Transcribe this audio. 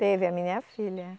Teve a minha filha.